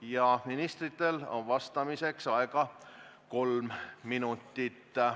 – ja ministritel on vastamiseks aega kolm minutit.